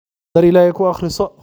Dhar illahey kuakriso.